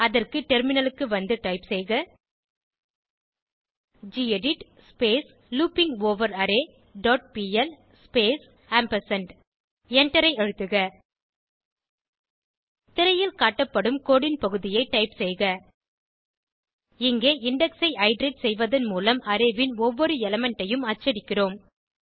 அதற்கு டெர்மினலுக்கு வந்து டைப் செய்க கெடிட் லூப்பிங்கவரரே டாட் பிஎல் ஸ்பேஸ் ஆம்பர்சாண்ட் எண்டரை அழுத்துக திரையில் காட்டப்படும் கோடு ன் பகுதியை டைப் செய்க இஙகே இண்டெக்ஸ் ஐ இட்டரேட் செய்வதன் மூலம் அரே ன் ஒவ்வொரு எலிமெண்ட் ஐயும் அச்சடிக்கிறோம்